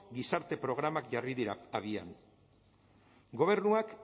gizarte programak jarri dira abian gobernuak